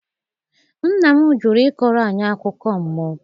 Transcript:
nna m jụrụ ịkọrọ anyị akụkọ mmụọ.